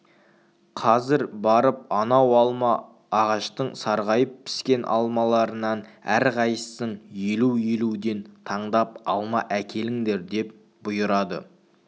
қазір барып анау алып алма ағаштың сарғайып піскен алмаларынан әрқайсың елу-елуден таңдап алма әкеліңдер деп бұйырады